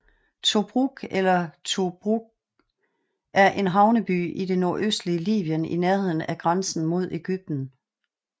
Tobruk eller Tubruq er en havneby i det nordøstlige Libyen i nærheden af grænsen mod Egypten